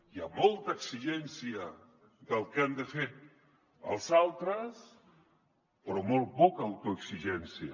hi ha molta exigència del que han de fer els altres però molt poca autoexigència